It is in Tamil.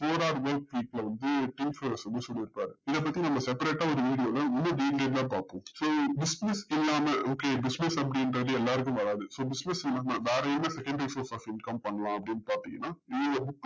சொல்லிருப்பாரு இதப்பத்தி நம்ம sepperate ஆ ஒரு video ல நம்ம detailed ஆ பாப்போம் so business இல்லாம okay business அப்டின்றது எல்லாருக்கும் வராது so business இல்லாம வேற எது secondary face of income பண்லாம் அப்டின்னு பாத்திங்கன்னா